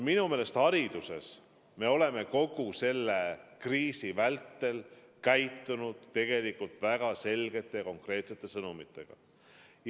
Minu meelest hariduses me oleme kogu selle kriisi vältel edastanud tegelikult väga selgeid ja konkreetseid sõnumeid.